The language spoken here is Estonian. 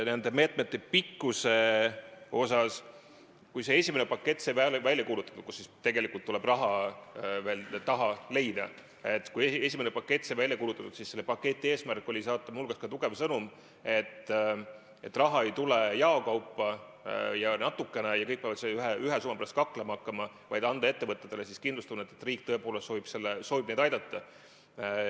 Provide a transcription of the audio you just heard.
Nende meetmete pikkuse kohta: kui esimene pakett sai välja kuulutatud, kuhu tegelikult tuleb raha veel taha leida, siis selle eesmärk oli saata muu hulgas tugev sõnum, et raha ei tule jaokaupa ja natukene ning kõik peavad selle ühe summa pärast kaklema hakkama, vaid sooviti anda ettevõtjale kindlustunnet, et riik tõepoolest soovib neid aidata.